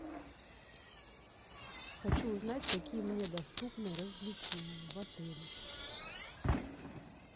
хочу узнать какие мне доступны развлечения в отеле